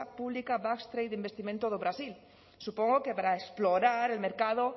pública basque trade e investimento do brasil supongo que para explorar el mercado